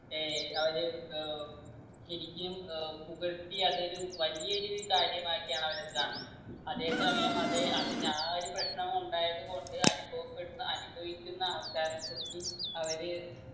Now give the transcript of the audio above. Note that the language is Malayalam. ഏർ അവര് ഏർ ശരിക്കിനും ഏർ പുകഴ്ത്തി അതൊരു വലിയൊരു കാര്യമാക്കിയാണ് അവരത് കാണുന്ന് അതെ സമയം അതെ അതിന്റെ ആ ഒരു പ്രശ്നമുണ്ടായത് കൊണ്ട് അനുഭവപ്പെടുന്ന അനുഭവിക്കുന്ന ആൾക്കാരിനെ കുറിച്ച് അവര്